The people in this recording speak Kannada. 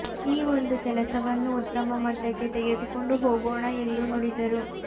ಈ ಒಂದು ಕೆಲಸವನ್ನು ಉತ್ತಮ ಮಟ್ಟಕ್ಕೆ ತೆಗೆದುಕೊಂಡು ಹೋಗೋಣ ಎಂದು ನುಡಿದರು